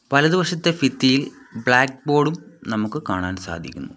വലതു വശത്തെ ഫിത്തിയിൽ ബ്ലാക്ക് ബോർഡും നമുക്ക് കാണാൻ സാധിക്കുന്നു.